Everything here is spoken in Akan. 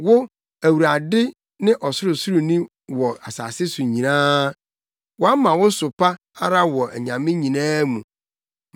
Wo, Awurade ne Ɔsorosoroni wɔ asase so nyinaa; wɔama wo so pa ara wɔ anyame nyinaa mu.